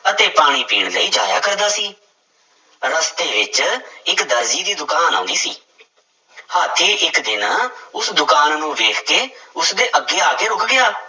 ਅਤੇ ਪਾਣੀ ਪੀਣ ਲਈ ਜਾਇਆ ਕਰਦਾ ਸੀ, ਰਸਤੇ ਵਿੱਚ ਇੱਕ ਦਰਜੀ ਦੀ ਦੁਕਾਨ ਆਉਂਦੀ ਸੀ ਹਾਥੀ ਇੱਕ ਦਿਨ ਉਸ ਦੁਕਾਨ ਨੂੰ ਵੇਖ ਕੇ ਉਸਦੇ ਅੱਗੇ ਆ ਕੇ ਰੁੱਕ ਗਿਆ।